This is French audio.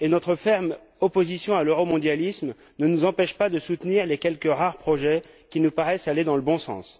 Notre ferme opposition à l'euromondialisme ne nous empêche pas de soutenir les quelques rares projets qui nous paraissent aller dans le bon sens.